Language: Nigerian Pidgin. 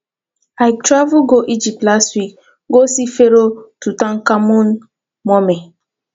i travel go egypt last week go see pharoah tutankhamun mummy